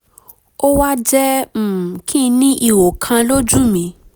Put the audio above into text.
ó wá jẹ́ um kí n ní ihò kan lójú mi